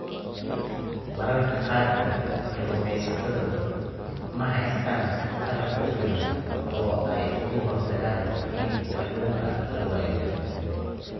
Mararka qaarkood, kalluumaysatadu ma haystaan ??qalab ku filan oo ay uga hortagaan in kalluunka la waayo.